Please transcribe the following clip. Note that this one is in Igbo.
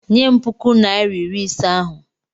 Nye m puku naịra iri ise ahụ!